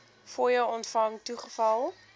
fooie ontvang toegeval